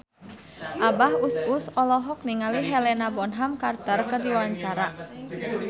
Abah Us Us olohok ningali Helena Bonham Carter keur diwawancara